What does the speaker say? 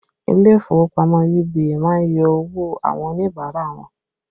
Ilé ìfowópamọ́ UBA má ń yọ owó àwọn Oníbàárà wọn